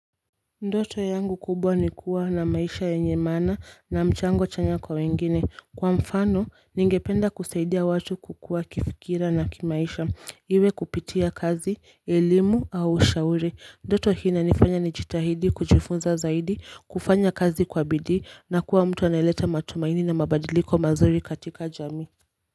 Ndoto yangu kubwa ni kuwa na maisha yenye maana na mchango chanya kwa wengine kwa mfano ningependa kusaidia watu kukua kifikira na kimaisha iwe kupitia kazi elimu au ushauri. Ndoto hii inanifanya nijitahidi kujifunza zaidi kufanya kazi kwa bidii na kuwa mtu anayeleta matumaini na mabadiliko mazuri katika jamii.